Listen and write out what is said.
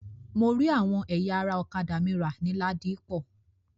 Mo rí àwọn ẹ̀yà ara ọ̀kádà mi rà ní Ladipọ.